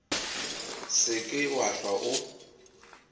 se ke wa hlwa o